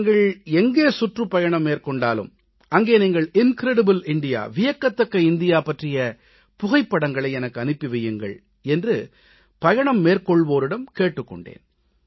நீங்கள் எங்கே சுற்றுப்பயணம் மேற்கொண்டாலும் அங்கே நீங்கள் வியக்கத்தக்க இந்தியா இன்கிரெடிபிள் இந்தியா பற்றிய புகைப்படங்களை எனக்கு அனுப்பி வையுங்கள் என்று பயணம் மேற்கொள்வோரிடம் கேட்டுக் கொண்டேன்